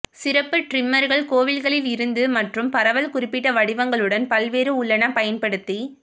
சிறப்பு டிரிம்மர்கள் கோவில்களிலிருந்து மற்றும் பரவல் குறிப்பிட்ட வடிவங்களுடன் பல்வேறு உள்ளன பயன்படுத்தி